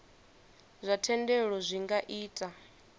zwa thendelo zwi nga ita